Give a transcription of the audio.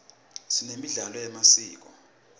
sinemidlalo yemasiko